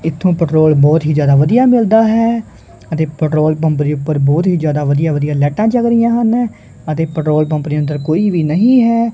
ਇਥੋਂ ਪੈਟਰੋਲ ਬਹੁਤ ਹੀ ਜਿਆਦਾ ਵਧੀਆ ਮਿਲਦਾ ਹੈ ਅਤੇ ਪੈਟਰੋਲ ਪੰਪ ਉੱਪਰ ਬਹੁਤ ਹੀ ਜਿਆਦਾ ਵਧੀਆ ਵਧੀਆ ਲਾਈਟਾਂ ਜੱਗ ਰਹੀਆਂ ਹਨ ਅਤੇ ਪੈਟਰੋਲ ਪੰਪ ਦੇ ਅੰਦਰ ਕੋਈ ਵੀ ਨਹੀਂ ਹੈ।